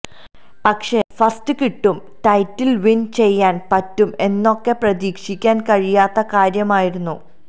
പക്ഷെ ഫസ്റ്റ് കിട്ടും title win ചെയ്യാന് പറ്റും എന്നൊക്കെ പ്രതീക്ഷിക്കാന് കഴിയാത്ത കാര്യമായിരുന്നു